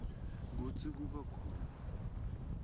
kutsi kuba khona